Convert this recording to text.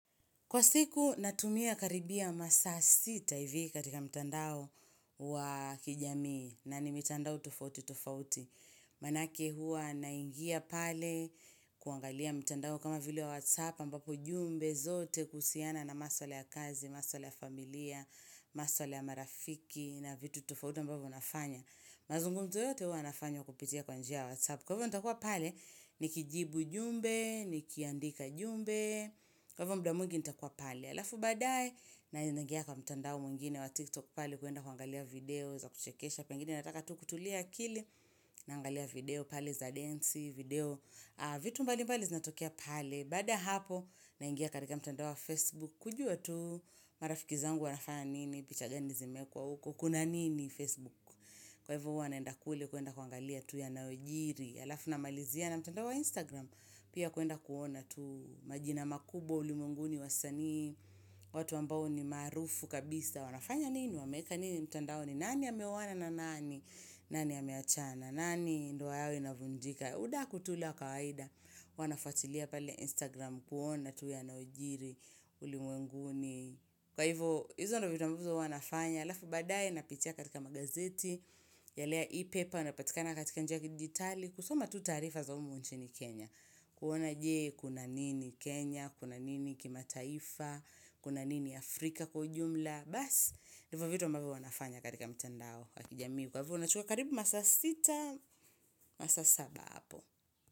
Kwa siku natumia karibia masa sita hivi katika mtandao wa kijamii na ni mitandao tufauti tufauti. Manake hua naingia pale kuangalia mtandao kama vile wa whatsapp ambapo jumbe zote kusiana na maswala ya kazi, maswala ya familia, maswala ya marafiki na vitu tufauti ambavo nafanya. Mazungumzo yote hua nafanya kupitia kwanjia ya whatsapp. Kwa hivyo ntakuwa pale ni kijibu jumbe, ni kiandika jumbe, kwa hivyo mda mwingi ntakuwa pale. Alafu badae na inangia kwa mtandao mwingine wa tiktok pale kuenda kuangalia video za kuchekesha. Pengine nataka tu kutulia akili na angalia video pale za densi, video vitu mbali mbali zinatokea pale. Baada ya hapo na ingia katika mtandao wa facebook kujua tu marafikizangu wanafana nini, pichagani zimekuwa uko, kuna nini facebook. Kwa hivyo hunaenda kule kuenda kuangalia tu ya naojiri, alafu na malizia na mtandao wa Instagram, pia kuenda kuona tu majina makubwa ulimwenguni wa sani, watu ambao ni maarufu kabisa, wanafanya nini, wameka nini, mtandao ni nani ameoana na na nani, nani ameachana, nani ndoa yao inavunjika. Udaku tu ule wa kawaida, wanafwatilia pale Instagram kuona tu ya naojiri, uli mwenguni. Kwa hivyo, hizono vitu ambazo wanafanya, alafu baadae, napitia katika magazeti, ya lea e-paper, unapatikana katika njaki jitali, kusoma tu tarifa za umu nchi ni Kenya. Kuona jee, kuna nini Kenya, kuna nini kima taifa, kuna nini Afrika kwa ujumla. Bas, hivyo vitu ambavo nafanya katika mtandao wakijamii. Kwa hivyo, unachukua karibu masa 6, masa 7 hapo.